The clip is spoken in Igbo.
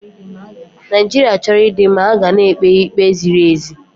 Naijiria chọrọ ịdị mma, ha ga na-ekpe ikpe ziri ezi.